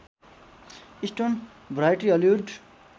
stone Variety Hollywood